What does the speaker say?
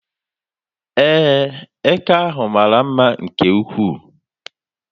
Ee, eke ahụ mara mma nke ukwuu.